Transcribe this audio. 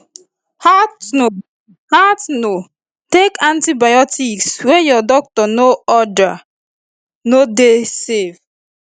haltno haltno take antibiotics wey your doctor no ordere no dey safe